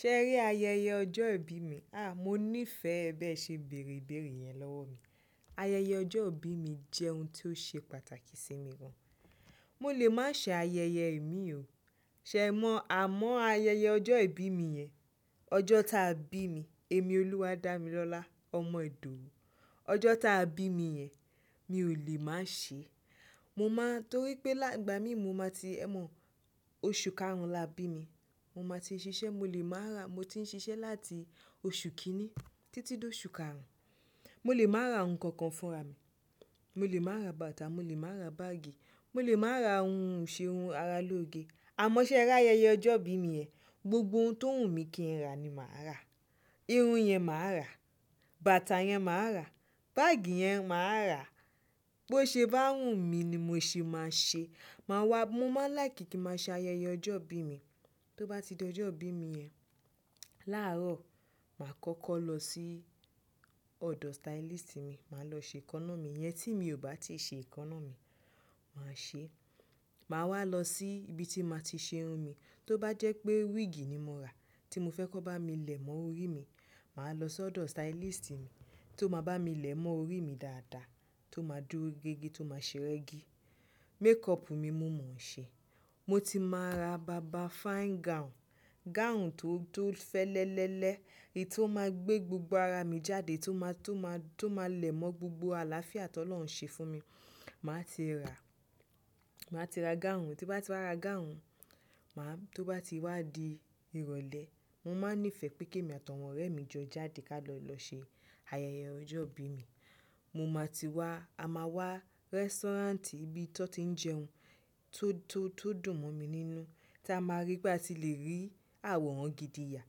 Ṣé ẹrí ayẹyẹ ọjọ́ ìbí mi? À, mo nífẹ̀ẹ́ bẹ́ẹ̀ ṣe bèrè ìbéèrè yẹn lọ́wọ́ mi. Ayẹyẹ ọjọ́ ìbí mi jẹ́ ohun tí ó ṣe pàtàkì sí mi gan. Mo lè má ṣe ayẹyẹ ìmi o. Ṣẹ̀ mọ̀ àmọ́ ayẹyẹ ọjọ́ ìbí mi yẹn, ọjọ́ táa bí mi, èmi Olúwadámilọ́lá ọmọ Ìdòwú. Ọjọ́ táa bí mi yẹn, mi ò lè má ṣe. Mo máa torí pé nígbà mí mo máa ti ẹ̀ mọ̀ oṣù karùn la bí mi. Mo máa ti ṣiṣẹ́, mo lè má ra, mo ti ń ṣiṣẹ́ láti oṣù kìní títí dé oṣù karùn. Mo lè má ra nkankan fún ra mi. Mo lè má ra bàtà, mo lè má ra báágì, mo lè má ra ohun iṣeun ara lóge. Àmọ́ ṣé ẹrí ayẹyẹ ọjọ́ ìbí mi yẹn, gbogbo ohun tó wùnmí kí n ra ni màá rà. Irun yẹn màá rà, bàtà yẹn màá rà, báágì yẹn màá rà. Bo ṣe bá wùnmí ni mo ṣe máa ṣe. Máwá, mo máa láìkí kí ma ṣe ayẹyẹ ọjọ́ ìbí mi. Tó bá ti di ọjọ́ ìbí mi yẹn, làárọ̀ màá kọ́kọ́ lọ sí ọ̀dọ̀ stylist mi. Mà lọ ṣe ẹkọ́nà mi yẹn tí mi ò bá ti ṣe ẹkọ́nà mi, má ṣe é. Màá wá lọ sí ibi tí màá ti ṣe irun mi. Tó bá jẹ́ pé wíìgì ni mo rà tí mo fẹ́ kó bá mi lẹ̀ mọ́ orí mi, màá lọ sọ́dọ̀ stylist mi tó má bá mi lẹ̀ mọ́ orí mi dáadáa, tó máa dúró gé igi, tó máa ṣe rẹ́gí. Makeup ni mo mọ̀ ṣe. Mo ti máa ra bàbá fine gown, gown tó tó fẹ́lẹ́lẹ́lẹ́, èyí tí ó máa gbé gbogbo ara mi jáde, tí ó máa, tí ó máa, tí ó máa lẹ̀ mọ́ gbogbo àlàáfíà tó Ọlọ́run ṣe fún mi. Màá ti rà, màá ti ra gáùn. Tí bá ti wá ra gown, màá, tó bá ti wá di ìrọ̀lẹ́, mo máa nífẹ̀ẹ́ pé kí èmi àti àwọn ọ̀rẹ́ mi jọ jáde ká lọ lọ ṣe ayẹyẹ ọjọ́ ìbí mi. Mo máa ti wá, a máa wá restaurant ibi tó ti ń jẹun tó tó tó dùn mọ́ mi nínú. Tí a máa rí pé a ti le rí àwòrán gidi yà,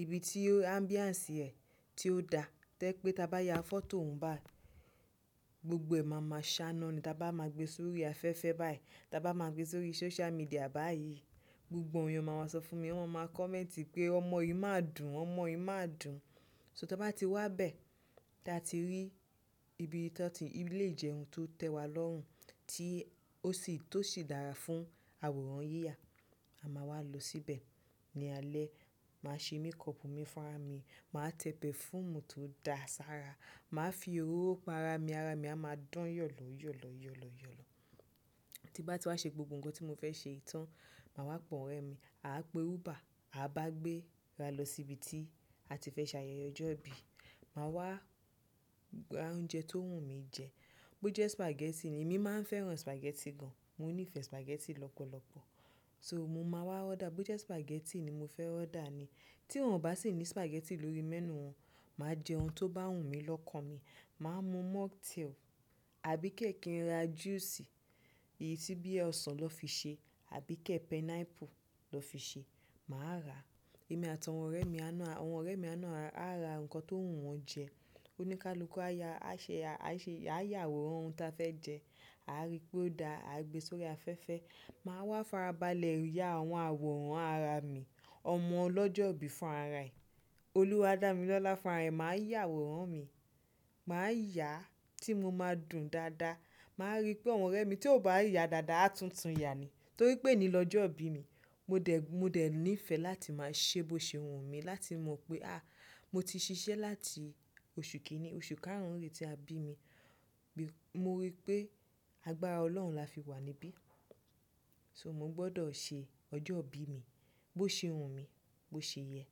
ibi tí ambiance rẹ̀ tí ó da. Tẹ́ pé tí a bá ya photo òun báyìí, gbogbo ẹ̀ mama ṣáná ni tí a bá má gbé sórí afẹ́fẹ́ báyìí, tí a bá ma gbé sórí social media báyìí. Gbogbo èèyàn mà má sọ fún mi, wọ́n má má comment pé ọmọ yìí má dùn, ọmọ yìí má dùn. So tí a bá ti wá bẹ́ẹ̀, tí a ti rí ibi tí wọ́n ti, ibi ilé ìjẹun tó tẹ́wa lọ́hùn, tí ó sì tó sì dára fún àwòrán yíyà. A máa wá lọ síbẹ̀. Ni alẹ́, màá ṣe makeup mi fúnra mi. Màá tẹ perfume tó da ṣára, màá fi òróró pa ara mi, ara mi a máa dán yọ̀lọ́ yọ̀lọ́ yọ̀lọ́ yọ̀lọ́. Tí n bá ti wá ṣe gbogbo nkan tí mo fẹ́ ṣe tán má wà pè àwọn orèmi a pè uba aba gbéra lọ sí bí tí àti fẹ́ ṣe ayẹyẹ ọjọ́ ìbí. Màá wá ra oúnjẹ tó wùn mí jẹ. Bo jẹ́ spaghetti ni, èmi máa ń fẹ́ràn spaghetti gan. Mo nífẹ̀ẹ́ spaghetti lọ́pọ̀lọpọ̀. So mo máa wá order, bo jẹ́ spaghetti ni mo fẹ́ order ni. Tí wọ́n ò bá sì ní spaghetti lórí menu wọn, màá jẹ ohun tó bá wùn mí lọ́kàn mi. Màá mu mocktail, àbí kí n ra juice èyí tí bí ẹ òsàn lọ́ fi ṣe, àbí kí pineapple lọ́ fi ṣe, màá rà. Èmi àti àwọn orèmi, àwọn orèmi náà a ra nkán tí owu wọn jẹ́. Oníkálukú á ya, á ṣe, á ṣe, á yà àwòrán ohun tí a fẹ́ jẹ, a á rí pé ó da, a á gbé sórí afẹ́fẹ́. Màá wá farabalẹ̀ ya àwọn àwòrán ara mi, ọmọ ọlọ́jọ́ ìbí fún ara ẹ̀, Olúwadámilọ́lá fún ara rẹ̀. Màá yà àwòrán mi, màá yà á tí mo máa dùn dáadáa. Màá rí pé àwọn ọ̀rẹ́ mi tí ò bá yà dáadáa á tún tun yà ni. Torí pé ẹni lọ́jọ́ ìbí mi, mo dẹ̀, mo dẹ̀ nífẹ̀ẹ́ láti máa ṣe bó ṣe wùn mí, láti mọ̀ pé à, mo ti ṣiṣẹ́ láti oṣù kìíní, oṣù karùn-ún re tí a bí mi. Mo rí pé agbára Ọlọ́run la fi wà níbí. So mo gbọ́dọ̀ ṣe ọjọ́ ìbí mi bó ṣe wùn mí, bó ṣe yẹ.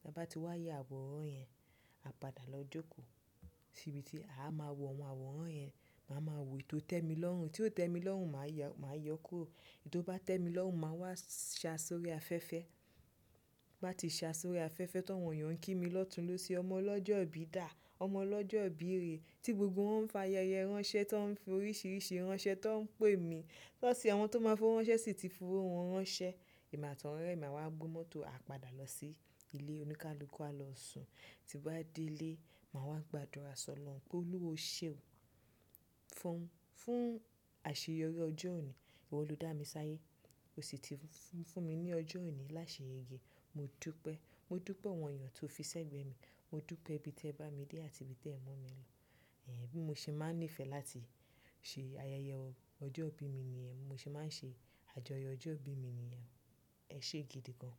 Tí a bá ti wá yà àwòrán yẹn, a padà lọ jókòó sí ibi tí a máa wọ àwọn àwòrán yẹn. Ma máa wo èyí tó tẹ́ mi lọ́rùn èyí tí ó tẹ́mi lọ́rùn ma yọ kúrò. Èyí tó bá tẹ́mi lọ́rùn màá wá sa sórí afẹ́fẹ́. Bá ti sa sórí afẹ́fẹ́ tó, àwọn èèyàn ń kí mi lọ́tùn lọ sí ọmọ ọlọ́jọ́ ìbí dà, ọmọ ọlọ́jọ́ ìbí rè. Tí gbogbo wọ́n ń fa ayẹyẹ ránṣẹ́, tí wọ́n ń fi oríṣiríṣi ránṣẹ́ tó ń pè mí. Lọ́ sì àwọn tó máa fún wọn ránṣẹ́ sì ti fi fún wọn ránṣẹ́. Èmi àti àwọn ọ̀rẹ́ mi a máa wá gbé mọ́tò, a padà lọ sí ilé oníkálukú, a lọ sùn. Tí a bá dé ilé, màá wá gbàdúrà sọ̀rọ̀ Ọlọ́run pé Olúwa o ṣe òun fún, fún àṣeyọrí ọjọ́ òní. Ìwọ ló dámi sáyé o sì ti fúnmi lọ́jọ́ ẹni láṣeyege modúpẹ́ modúpẹ́ àwọn èèyàn tó fi ṣe gbé mi. Mo dúpẹ́ ibi tí ẹ bá mi dé àti ibi tí ẹ mú mi lọ. Ẹ̀hẹn, bí mo ṣe máa ń nífẹ̀ẹ́ láti ṣe ayẹyẹ ọjọ́ ìbí mi nìyẹn, mo ṣe máa ń ṣe àjọyọ̀ ọjọ́ ìbí mi nìyẹn. Ẹ ṣé gidi gan.